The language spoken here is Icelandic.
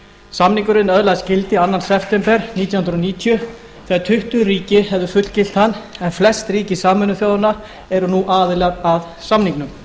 samningurinn öðlaðist gildi annan september nítján hundruð níutíu þegar tuttugu ríki höfðu fullgilt hann en flest ríki sameinuðu þjóðanna eru nú aðili að samningnum